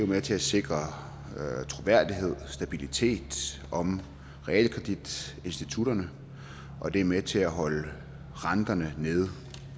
med til at sikre troværdighed og stabilitet om realkreditinstitutterne og det er med til at holde renterne nede